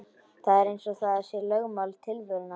Það er eins og það sé lögmál tilverunnar.